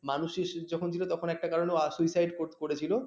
মানুষ যখন ছিল তো একটা কারণে suicide করেছিল